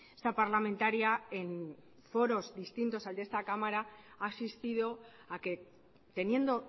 esta parlamentaria en foros distintos al de esta cámara ha asistido a que teniendo